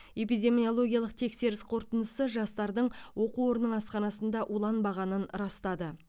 эпидемиологиялық тексеріс қорытындысы жастардың оқу орнының асханасында уланбағанын растады